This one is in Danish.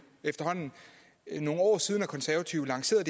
efterhånden nogle år siden at konservative lancerede